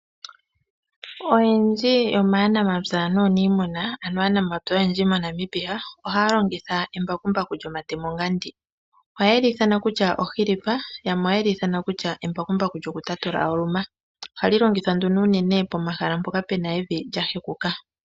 Oyendji yomaanamapya naaniimuna, ano aanamapya oyendji mo Namibia ohaya longitha embakumbaku lyomatemo nga ndi. Ohaye li ithana kutya ohilipa yamwe ohaye li ithana kutya embakumbaku lyokutatula oluma. Ohali longithwa nduno unene pomahala mpoka puna evi lya hekuka.